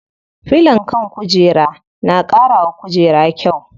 Filon kan kujera na ƙara wa kujeru kyau.